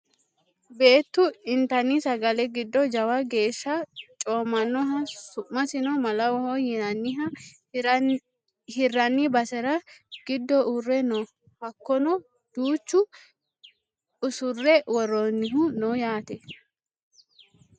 beettu intanni sagale giddo jawa geeshsha coommannoha su'masino malawoho yinanniha hirranni basera giddo uurre no hakono duuchu usurre worroonnihu no yaate